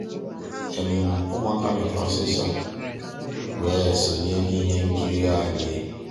ụmụ́àká lọ́tárá ọsísọ weé um sonyéé n'íhé nkírí ànyị́.